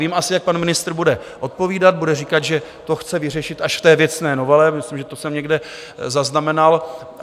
Vím asi, jak pan ministr bude odpovídat - bude říkat, že to chce vyřešit až v té věcné novele, myslím, že to jsem někde zaznamenal.